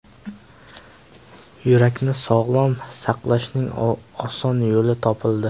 Yurakni sog‘lom saqlashning oson yo‘li topildi.